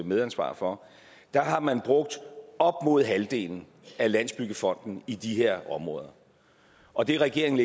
medansvar for har man brugt op mod halvdelen af landsbyggefondens i de her områder og det regeringen